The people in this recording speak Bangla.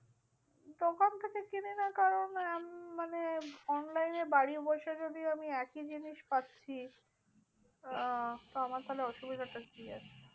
মানে online এ বাড়ি বসে যদি আমি একই জিনিস পাচ্ছি, আহ তো আমার তাহলে অসুবিধাটা কি আছে?